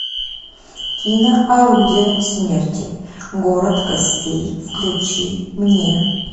кино орудие смерти город костей включи мне